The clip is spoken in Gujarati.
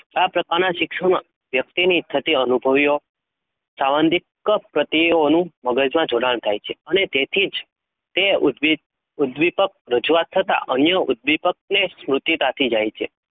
આ પ્રકારની, શિક્ષણ મા, વ્યક્તિની થતી અનુભવીઓ સવનધી કપ મગજ મા જોડાણ થાય છે? અને તેથી તેજ ઉદ્દીપકરજૂઆત થતાં અન્ય ઉધીપ ને, સમુદિધ આપી જય છે?